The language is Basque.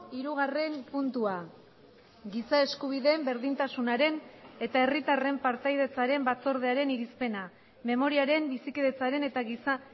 hirugarren puntua giza eskubideen berdintasunaren eta herritarren partaidetzaren batzordearen irizpena memoriaren bizikidetzaren eta giza